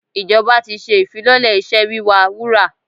Ìjọba ti ṣe ìfilọ́lẹ̀ iṣẹ́ wíwa wúrà.